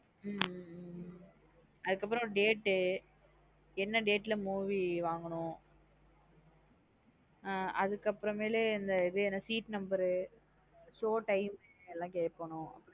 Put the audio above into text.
ஹம் அதுகப்றாம் date ட் என்ன date ல movie வாங்கணும் ஆஹ் அதுகப்றாம் மேல்லு seat number உ show time உ எல்லாம் கேக்கணும்.